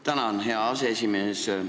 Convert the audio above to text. Tänan, hea aseesimees!